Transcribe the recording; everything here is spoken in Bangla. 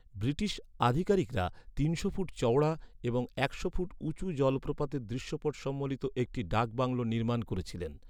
ব্রিটিশ আধিকারিকরা তিনশো ফুট চওড়া এবং একশো ফুট উঁচু জলপ্রপাতের দৃশ্যপট সম্বলিত একটি ডাক বাংলো নির্মাণ করেছিলেন।